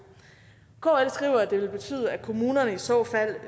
kl skriver at det vil betyde at kommunerne i så fald